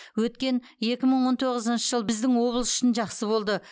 өткен екі мың он тоғызыншы жыл біздің облыс үшін жақсы болды